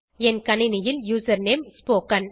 என் கணினியில் username spoken